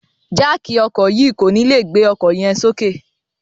Jáákí ọkọ yii ko ni le gbe ọkọ yẹn soke